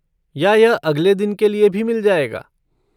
या यह अगले दिन के लिए भी मिल जाएगा?